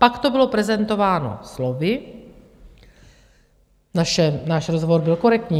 Pak to bylo prezentováno slovy: náš rozhovor byl korektní.